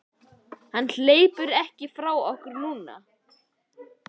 Hann hleypur ekki frá okkur núna.